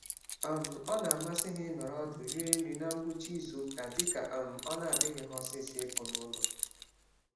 um Ọna amasị ha ịnọrọ ọdụ rie nri na ngwụcha izuka, dịka um ọ nadịghị ha ọsịsọ ịpụ n'ụlọ